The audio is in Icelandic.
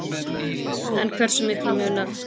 En hversu miklu munar